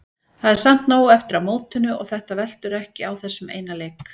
Það er samt nóg eftir af mótinu og þetta veltur ekki á þessum eina leik.